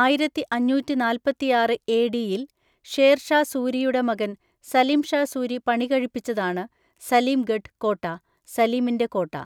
ആയിരത്തിഅഞ്ഞൂറ്റിനാല്പത്തിയാറ് എഡിയിൽ ഷേർ ഷാ സൂരിയുടെ മകൻ സലിം ഷാ സൂരി പണികഴിപ്പിച്ചതാണ് സലിംഗഢ് കോട്ട (സലീമിന്റെ കോട്ട).